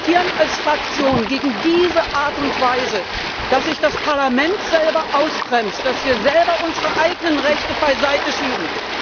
Und wir protestieren als Fraktion gegen diese Art und Weise, dass sich das Parlament selber ausbremst, dass wir selber unsere eigenen Rechte beiseite schieben.